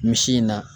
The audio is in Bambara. Misi in na